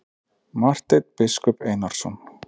Marteinn biskup Einarsson.